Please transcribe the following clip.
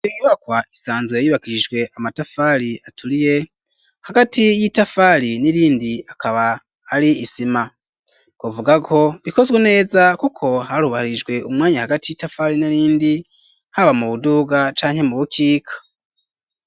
Inyubakwa isanzwe yubakishijwe amatafari aturiye hagati y'itafari n'irindi akaba ari isima kuvuga ko bikozwe neza kuko harubahirijwe umwanya hagati y'itafari n'irindi haba mu buduga canke mu bukika.